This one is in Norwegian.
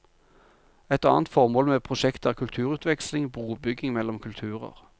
Et annet formål med prosjektet er kulturutveksling, brobygging mellom kulturer.